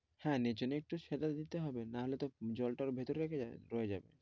হ্যাঁ নিচেতো একটু সেবা করতে হবে নাহলে তো জলটা ভিতরে পরে যাবে